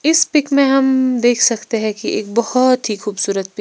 इस पिक में हम्म देख सकते हैं कि एक बहुत ही खूबसूरत पि--